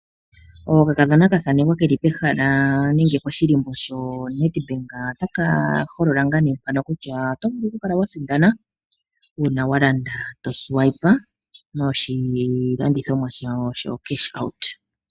Oka kadhona ka thanekwa ke li pehala nenge poshihako shoNedbank otaka holola kutya oto vulu oku kala wa sindana uuna wa landa to futu noka kalata noku pewa oshimaliwa koomuma okuza koma yalulo goye gombaanga.